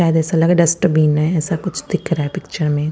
शायद एसा लग रहा है डस्टबीन है एसा कुछ दिख रहा है पिक्चर में--